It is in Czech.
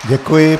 Děkuji.